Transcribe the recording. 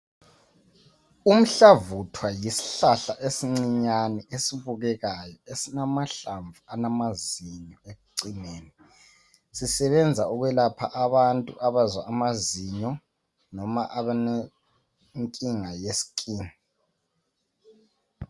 Umhlavuthwa yisihlahla esincinyane esibukekayo esilamahlamvu alamazinyo ekucineni sisebenza ukwelapha abantu abazwa amazinyo noma abalenkinga ye skin.